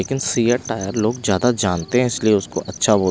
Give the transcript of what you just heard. लेकिन सीयर टायर लोग ज्यादा जानते हैं इसलिए उसको अच्छा बोल--